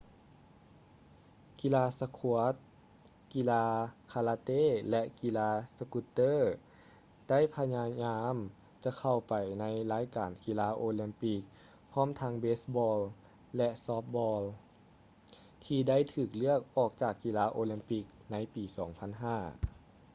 ກິລາສະຄວດສ໌ squash ກິລາຄາລາເຕ້ ແລະ ກິລາສະກຸດເຕີ roller ໄດ້ພະຍາຍາມຈະເຂົ້າໄປໃນລາຍການກິລາໂອລິມປິກ ພ້ອມທັງເບສ໌ບອລ໌ baseball ແລະ ຊອບທ໌ບອລ໌ softball ທີ່ໄດ້ຖືກເລືອກອອກຈາກກິລາໂອລິມປິກໃນປີ 2005